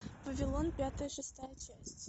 вавилон пятая шестая часть